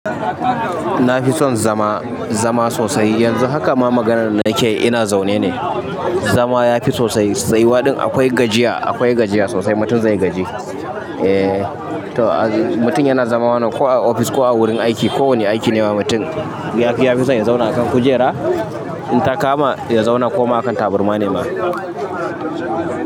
Na fi son zama, zama sosai. Yanzu haka ma maganar nake yi ina zaune ne. Zama ya fi sosai tsayuwa ɗin akwai gajiya, akwai gajiya sosai mutum zai gaji. Eh, to mutum yana zama ko a ofis ko a wurin aiki ko wane aiki ne ma mutum ya fi son ya zauna a kan kujera in ta kama ya zauna ko ma a kan tabarma ne ma.